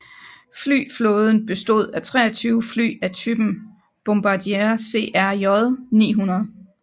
Flyflåden bestod af 23 fly af typen Bombardier CRJ900